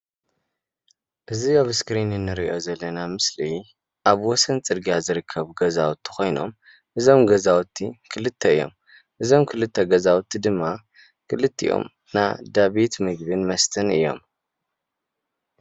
እዚ ኣብ እስክሪን እንሪኦ ዘለና ምስሊ ኣብ ወሰን ፅርግያ ዝርከቡ ገዛዉቲ ኮይኖም እዞም ገዘዉቲ ክልተ እዮም፡፡ እዞም ክልተ ገዛዉቲ ድማ ክልቲኦም ናይ እንዳቤት ምግብን መስተን እዮም፡፡